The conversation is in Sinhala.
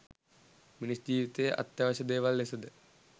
මිනිස් ජීවිතයේ අත්‍යවශ්‍ය දේවල් ලෙස ද